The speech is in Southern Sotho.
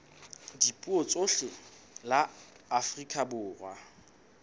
dipuo tsohle la afrika borwa